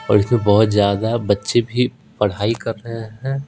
और इसमें बहुत ज्यादा बच्चे भी पढ़ाई कर रहे हैं।